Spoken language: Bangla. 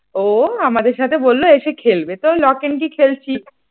ও আমাদের সাথে বলল এসে খেলব তো লক অ্যান্ড কি খেলছি ।